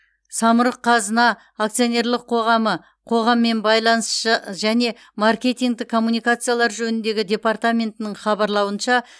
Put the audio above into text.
самұрық қазына акционерлік қоғамы қоғаммен байланыс ж және маркетингтік коммуникациялар жөніндегі департаментінің хабарлауынша